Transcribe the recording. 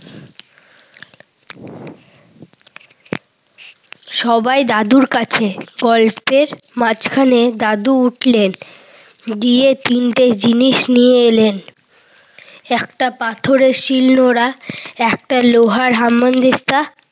সবাই দাদুর কাছে। গল্পের মাঝখানে দাদু উঠলেন, গিয়ে তিনটে জিনিস নিয়ে এলেন। একটা পাথরের শিল নোড়া, একটা লোহার হামান দিস্তা,